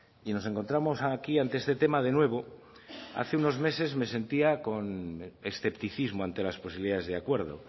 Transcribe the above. y nos encontramos aquí ante este tema de nuevo hace unos meses me sentía con escepticismo ante las posibilidades de acuerdo